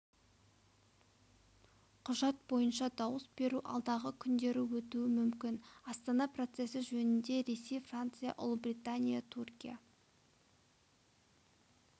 құжат бойынша дауыс беру алдағы күндері өтуі мүмкін астана процесі жөнінде ресей франция ұлыбритания түркия